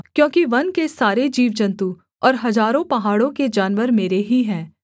क्योंकि वन के सारे जीवजन्तु और हजारों पहाड़ों के जानवर मेरे ही हैं